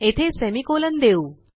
येथे सेमिकोलॉन देऊ